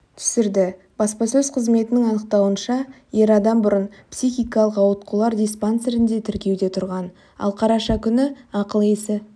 түсірді баспасөз қызметінің анықтауынша ер адам бұрын психикалықауытқулар диспансерінде тіркеуде тұрған ал қараша күні ақыл-есі